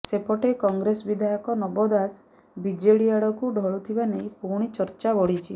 ସେପଟେ କଂଗ୍ରେସ ବିଧାୟକ ନବ ଦାସ ବିଜେଡି ଆଡ଼କୁ ଢଳୁଥିବା ନେଇ ପୁଣି ଚର୍ଚ୍ଚା ବଢ଼ିଛି